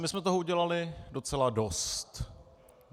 My jsme toho udělali docela dost.